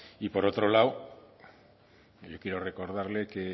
por otro lado yo quiero recordarle que